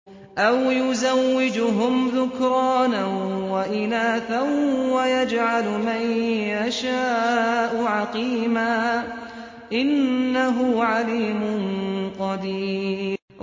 أَوْ يُزَوِّجُهُمْ ذُكْرَانًا وَإِنَاثًا ۖ وَيَجْعَلُ مَن يَشَاءُ عَقِيمًا ۚ إِنَّهُ عَلِيمٌ قَدِيرٌ